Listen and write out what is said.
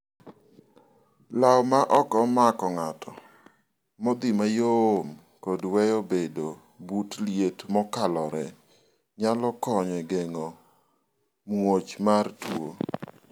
law ma ok mak ng'ato, modhi mayom kod weyo bedo but liet mokalore nyalo konyo e geng'o much mar tuo